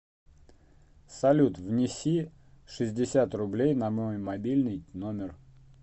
салют внеси шестьдесят рублей на мой мобильный номер